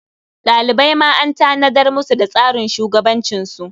Ɗalibai ma an tanadar musu da tsarin shugabancinsu.